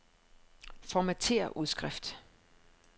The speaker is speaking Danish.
Formatér udskrift.